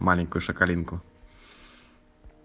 маленькую шокалинку